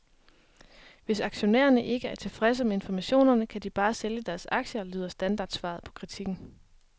Hvis aktionærerne ikke er tilfredse med informationerne, kan de bare sælge deres aktier, lyder standardsvaret på kritikken.